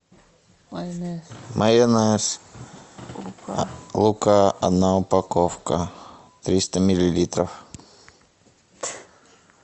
майонез лука одна упаковка триста миллилитров